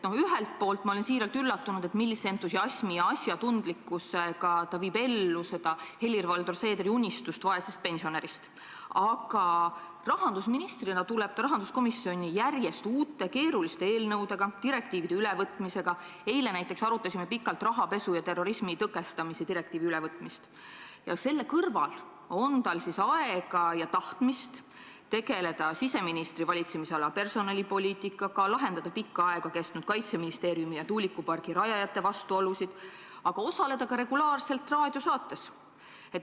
Ühelt poolt olen ma siiralt üllatunud, millise entusiasmi ja asjatundlikkusega ta viib ellu seda Helir-Valdor Seederi unistust vaesest pensionärist, aga rahandusministrina tuleb ta rahanduskomisjoni järjest uute keeruliste eelnõudega, direktiivide ülevõtmisega, eile näiteks arutasime pikalt rahapesu ja terrorismi tõkestamise direktiivi ülevõtmist, ning selle kõrval on tal aega ja tahtmist tegeleda siseministri valitsemisala personalipoliitikaga, lahendada pikka aega kestnud Kaitseministeeriumi ja tuulikupargi rajajate vastuolusid ning osaleda ka regulaarselt raadiosaates.